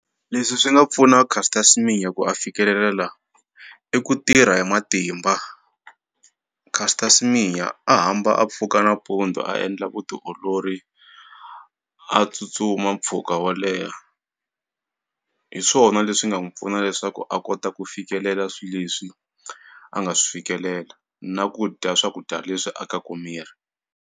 Leswi swi nga pfuna Caster Semenya ku a fikelela la i ku tirha hi matimba, Caster Semenya a hamba a pfuka nampundzu a endla vutiolori a tsutsuma mpfhuka wo leha, hi swona leswi nga n'wi pfuna leswaku a kota ku fikelela swi leswi a nga swi fikelela na ku dya swakudya leswi akaku miri.